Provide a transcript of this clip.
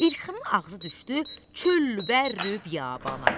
İlxının ağzı düşdü çöllü-bəlli biyabana.